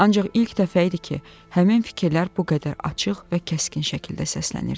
Ancaq ilk dəfə idi ki, həmin fikirlər bu qədər açıq və kəskin şəkildə səslənirdi.